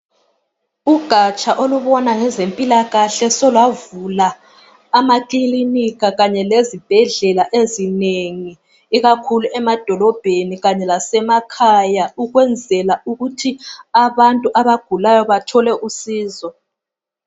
Ugatsha olubona ngezempilakahle solavula amakilinika kanye lezibhedlela ezinengi ikakhulu emadolobheni kanye lasemakhaya ukwenzela ukuthi abantu abagulayo bathole usizo.